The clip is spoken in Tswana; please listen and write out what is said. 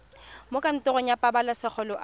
mo kantorong ya pabalesego loago